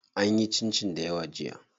An yi cincin dayawa jiya.